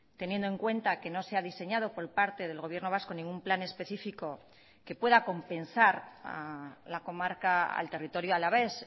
teniendo en cuenta que no se ha diseñado por parte del gobierno vasco ningún plan específico que pueda compensar a la comarca al territorio alavés